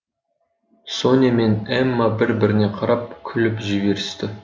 соня мен эмма бір біріне қарап күліп жіберісті